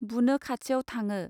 बुनो खाथियाव थाङो